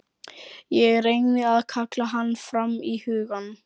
Ég reyni að kalla hann fram í hugann.